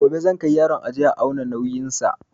Gobe zan kai yaron aje a auna nauyin sa